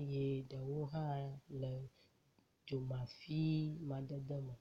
eye ɖewo hã le dzomafi madede me.